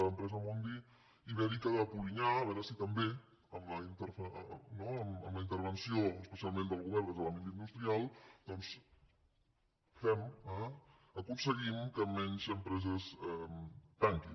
l’empresa mondi ibèrica de polinyà a veure si també amb la intervenció especialment del govern des de l’àmbit industrial doncs aconseguim que menys empreses tanquin